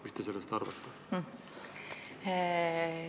Mis te sellest arvate?